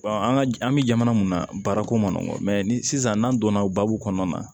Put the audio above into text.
an ka an bɛ jamana mun na baarako ma ni sisan n'an donna baabu kɔnɔna na